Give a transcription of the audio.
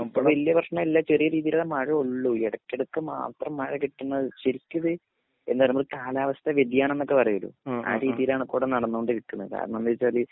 ഇപ്പൊ വെല്യപ്രശ്‌നല്ല ചെറിയരീദിൽമഴൊള്ളു ഇടക്കെടക്ക് മാത്രം മഴകിട്ട്ണത് ശരിക്കിത് എന്തറയനമ്മൾ കാലാവസ്ഥ വ്യതിയാനംനൊക്കെ പറയാലോ അ രീതീലണ് ക്കുടെ നടന്നോണ്ടിരിക്കണെ കരണന്തച്ചാല്